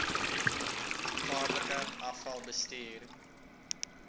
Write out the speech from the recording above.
gevaarlike afval bestuur